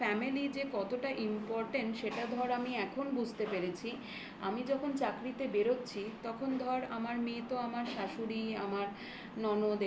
হ্যাঁ হ্যাঁ যে খালি একটা family যে কতটা important সেটা ধর আমি এখন বুঝতে পেরেছি আমি যখন চাকরিতে বেরোচ্ছি তখন ধর আমার মেয়ে তো আমার শাশুড়ি, আমার ননদ এদের